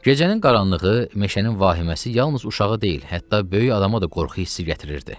Gecənin qaranlığı, meşənin vahimənməsi yalnız uşağı deyil, hətta böyük adama da qorxu hissi gətirirdi.